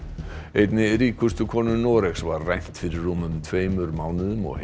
einni ríkustu konu Noregs var rænt fyrir rúmum tveimur mánuðum og